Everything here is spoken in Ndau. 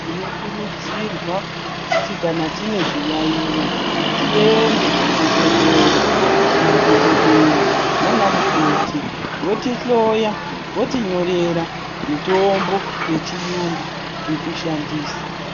Tino kurudzirwa kuti kana tine zviyayiyo tiende ku zvibhedhlera ma dhokodheya nana mukoti voti hloya voti nyorera mitombo ye chiyungu yeku shandisa.